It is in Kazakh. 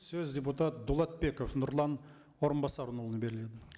сөз депутат дулатбеков нұрлан орынбасарұлына беріледі